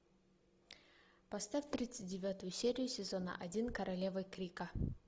поставь тридцать девятую серию сезона один королевы крика